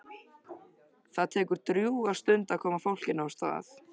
Það tekur drjúga stund að koma fólkinu af stað.